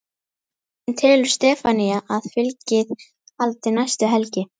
En telur Stefanía að fylgið haldi næstu helgi?